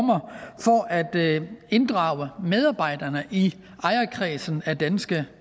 at inddrage medarbejderne i ejerkredsen af danske